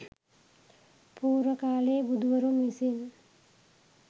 පූර්ව කාලයේ බුදුවරුන් විසින්